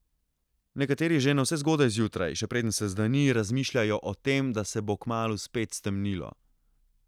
Nekateri že navsezgodaj zjutraj, še preden se zdani, razmišljajo o tem, da se bo kmalu spet stemnilo.